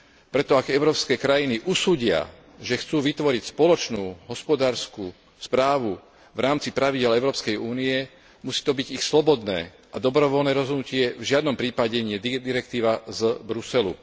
Preto ak európske krajiny usúdia, že chcú vytvoriť spoločnú hospodársku správu v rámci pravidiel Európskej únie, musí to byť ich slobodné a dobrovoľné rozhodnutie, v žiadnom prípade nie direktíva z Bruselu.